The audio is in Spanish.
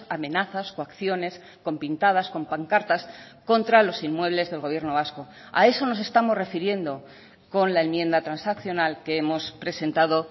amenazas coacciones con pintadas con pancartas contra los inmuebles del gobierno vasco a eso nos estamos refiriendo con la enmienda transaccional que hemos presentado